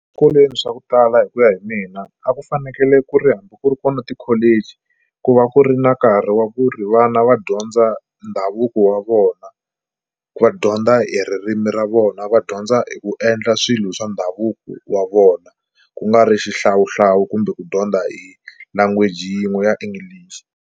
swa ku tala hi ku ya hi mina a ku fanekele ku ri hambi ku ri kona ti-college ku va ku ri na nkarhi wa ku ri vana va dyondza ndhavuko wa vona, va dyondza hi ririmi ra vona, va dyondza hi ku endla swilo swa ndhavuko wa vona ku nga ri xihlawuhlawu kumbe ku dyondza hi language yin'we ya English.